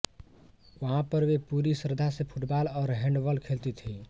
वहाँ पर वे पुरी श्रद्धा से फ़ुटबॉल और हैंडबॉल खेलती थीं